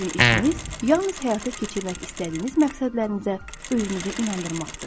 Sizin işiniz yalnız həyata keçirmək istədiyiniz məqsədlərinizə özünüzü inandırmaqdır.